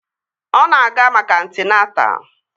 Ọ na-aga maka antịnata